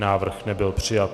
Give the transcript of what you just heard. Návrh nebyl přijat.